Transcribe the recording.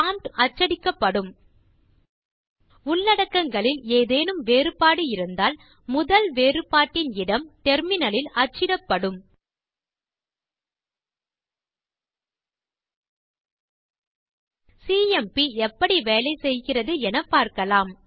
prompt மட்டும் அச்சிடப்படும் உள்ளடக்கங்களில் ஏதேனும் வேறுபாடு இருந்தால் முதல் வேறுபாட்டின் இடம் டெர்மினல் லில் அச்சிடப்படும் சிஎம்பி எப்படி வேலை செய்கிறது என பார்க்கலாம்